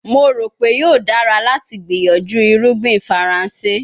Mo ro pe yoo dara lati gbiyanju irugbin Faranse